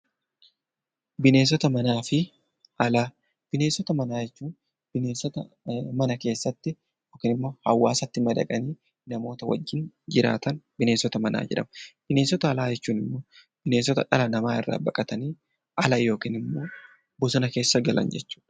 Bineensota manaa jechuun bineensota mana keessatti hawaasatti madaqanii namoota wajjin jiraatan bineensota manaa jedhamu. Bineensota alaa jechuun immoo dhala namaa irraa baqatanii ala yookiin bosona keessa galan jechuudha.